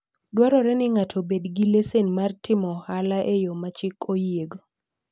Dwarore ni ng'ato obed gi lesen mar timo ohala e yo ma chik oyiego.